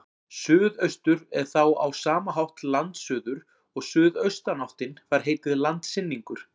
Suðaustur er þá á sama hátt landsuður og suðaustanáttin fær heitið landsynningur.